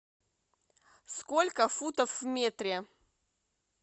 сколько футов в метре